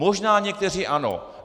Možná někteří ano.